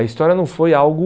A história não foi algo...